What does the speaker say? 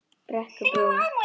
Brekkubrún